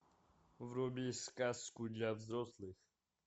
вруби сказку для взрослых